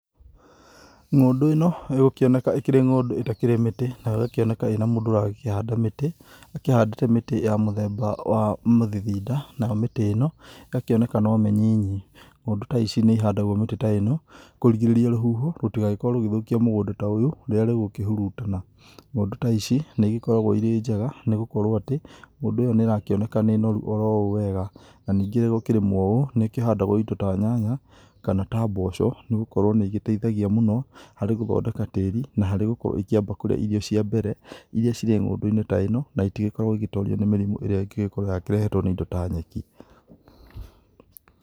Ng'ũndũ ĩno ĩgũkĩoneka ĩkĩrĩ ng'ũndũ ĩtakĩrĩ mĩti. Nayo ĩgakĩoneka ĩĩ na mũndũ ũragĩkĩhanda mĩtĩ. Akĩhandĩte mĩtĩ ya mũthemba wa Mũthithinda nayo mĩtĩ ĩno ĩgakĩoneka no mĩnyinyi. Ng'ũndũ ta ici nĩihandagwo mĩtĩ ta ĩno kũrigĩrĩria rũhuho rũtigagĩkorwo rũgĩthũkia mũgũnda ta ũyũ rĩrĩa rĩgũkĩhurutana. Ng'ũndũ ta ici nĩigĩkoragwo irĩ njega nĩgũkorwo atĩ ng'ũndũ ĩyo nĩrakĩoneka nĩ noru oro ũũ wega. Na ningĩ ĩrĩ gũkĩrĩmwo ũũ, nĩkĩhandagwo indo ta nyanya, kana ta mboco, nĩgũkorwo nĩigĩteithagia mũno harĩ gũthondeka tĩri na harĩ gũkorwo ikĩamba kũrĩa irio cia mbere iria cirĩ ng'ũndũ-inĩ ta ĩno na itigĩkoragwo igĩtorio nĩ mĩrimũ ĩrĩa ĩngĩgĩkorwo yakĩrehetwo nĩ indo ta nyeki.